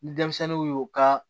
Ni denmisɛnninw y'u ka